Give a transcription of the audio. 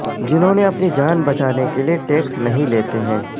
جنہوں نے اپنی جان بچانے کے لئے ٹیکس نہیں لیتے ہیں